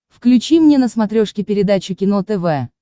включи мне на смотрешке передачу кино тв